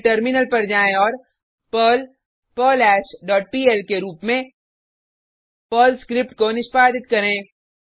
फिर टर्मिनल पर जाएँ औऱ पर्ल पर्लहैश डॉट पीएल के रुप में पर्ल स्क्रिप्ट को निष्पादित करें